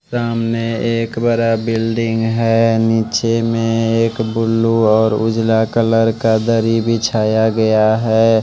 सामने एक बड़ा बिल्डिंग है नीचे में एक बुलू और उजाला कलर का दरी भी बिछाया गया है।